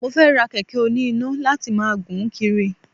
Mo fẹ́ ra kẹ̀kẹ́ oní iná láti máa gùn kiri